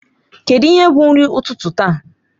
Kedụ ihe bụ nri ụtụtụ taa?